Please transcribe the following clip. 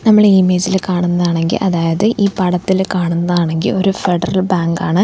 നമ്മള് ഇമേജില് കാണുന്നതാണെങ്കിൽ അതായത് ഈ പടത്തില് കാണുന്നതാണെങ്കിൽ ഒരു ഫെഡറൽ ബാങ്ക് ആണ്.